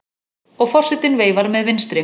Og forsetinn veifar með vinstri.